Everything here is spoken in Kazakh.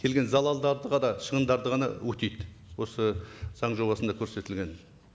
келген залалдарды ғана шығындарды ғана өтейді осы заң жобасында көрсетілген